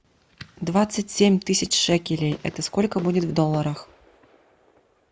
двадцать семь тысяч шекелей это сколько будет в долларах